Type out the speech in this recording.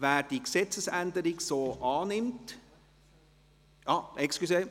Wer diese Gesetzesänderung so annimmt … Entschuldigung …